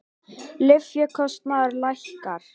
Lyfjakostnaður lækkar